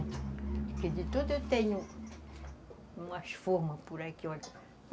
Porque de tudo eu tenho umas formas por aqui, olha.